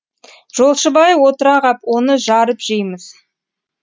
жолшыбай отыра ғап оны жарып жейміз